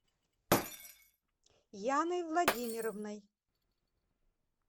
яной владимировной